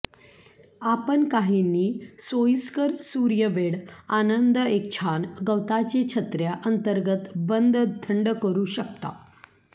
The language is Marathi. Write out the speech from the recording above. आपण काहींनी सोयीस्कर सूर्य बेड आनंद एक छान गवताचे छत्र्या अंतर्गत बंद थंड करू शकता